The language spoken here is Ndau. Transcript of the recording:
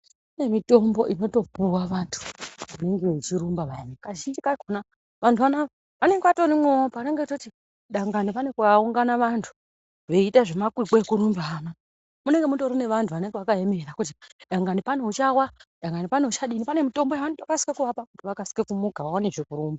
Pane mitombo inotopuwa vantu vanenge vechirumba vayani kazhinji kakhona vanenge vatorimwowo panenge veitoti dangani kune kwaungana vantu veiita zvemakwikwi ekurumba munenge mutori nevantu vanenge vakaemera kuti dangani pane uchawa dangani pane uchadini pane mitombo yavanokasika kuvapa kuti vakasike kumuka vaonezve kurumba.